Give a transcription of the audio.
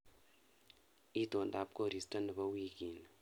Itondap koristo nebo wiikini